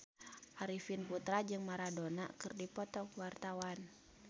Arifin Putra jeung Maradona keur dipoto ku wartawan